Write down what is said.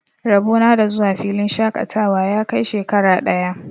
Rabo na da zuwa filin shaƙatawa ya kai shekara ɗaya.